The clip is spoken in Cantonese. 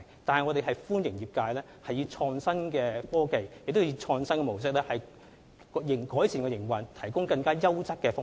不過，我們歡迎業界利用創新的科技及經營模式，為市民提供更優質的服務。